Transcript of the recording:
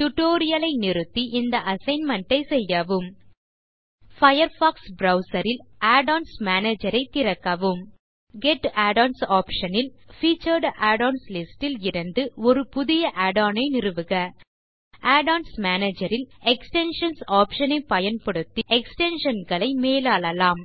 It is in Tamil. டியூட்டோரியல் ஐ நிறுத்தி இந்த அசைன்மென்ட் ஐ செய்யவும் பயர்ஃபாக்ஸ் ப்ரவ்சர் ல் add ஒன்ஸ் மேனேஜர் ஐ திறக்கவும் கெட் add ஒன்ஸ் ஆப்ஷன் ல் பீச்சர்ட் add ஒன்ஸ் லிஸ்ட் ல் இருந்து ஒரு புது add ஒன் ஐ நிறுவுக add ஒன்ஸ் மேனேஜர் ல் எக்ஸ்டென்ஷன்ஸ் ஆப்ஷன் ஐ பயன்படுத்தி எக்ஸ்டென்ஷன் களை மேலாளலாம்